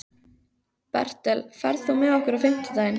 Bertel, ferð þú með okkur á fimmtudaginn?